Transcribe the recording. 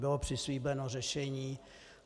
Bylo přislíbeno řešení.